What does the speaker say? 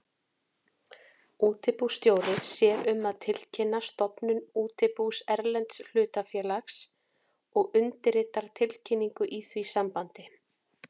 Útibússtjóri sér um að tilkynna stofnun útibús erlends hlutafélags og undirritar tilkynningu í því sambandi.